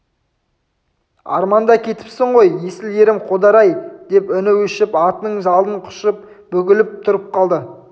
арманда кетіпсің ғой есіл ерім қодар-ай деп үні өшіп атының жалын құшып бүгіліп тұрып қалды